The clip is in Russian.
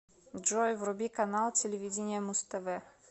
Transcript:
джой вруби канал телевидения муз тв